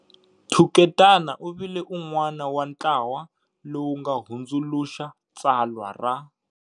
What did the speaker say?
Thuketana u vile un'wana wa ntlawa lowu nga hundzuluxa tsalwa ra